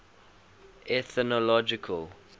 ethnological